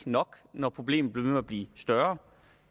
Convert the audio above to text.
nok når problemet bliver at blive større